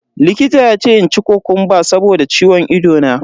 Likita ya ce in ci kokumba saboda ciwon ido na.